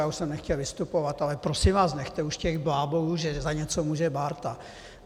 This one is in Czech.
Já už jsem nechtěl vystupovat, ale, prosím vás, nechte už těch blábolů, že za něco může Bárta.